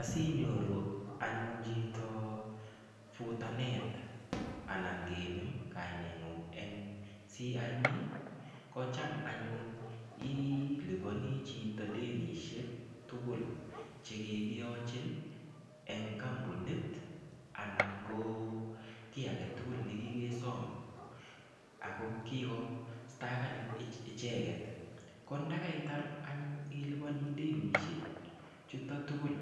Asinyoru anyun chito futanet anan kenem kaineng'ung eng' CRB ko cham anyun iliponi chito denisiek tugul chekigiyochin eng' kampunit anan ko kiy agetugul nekigesom ako kigostakanin icheket ko ndakaitar anyun ilipani denisiek chutok tugul